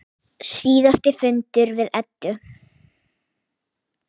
Síðasti fundur við Eddu.